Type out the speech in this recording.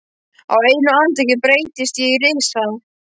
Á einu andartaki breytist ég í risa.